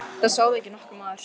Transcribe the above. Það sá þig ekki nokkur maður!